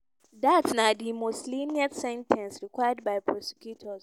dat na di most lenient sen ten ce requested by prosecutors.